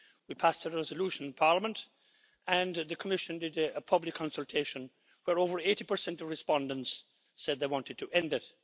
We passed a resolution in Parliament and the Commission did a public consultation where over 80 of respondents said they wanted to end it.